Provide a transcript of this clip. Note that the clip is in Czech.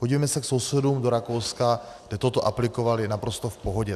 Podívejme se k sousedům do Rakouska, kde toto aplikovali naprosto v pohodě.